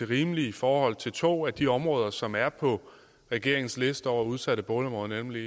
rimeligt i forhold til to af de områder som er på regeringens liste over udsatte boligområder nemlig